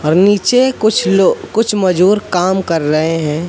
और नीचे कुछ लोग कुछ मजूर काम कर रहे हैं।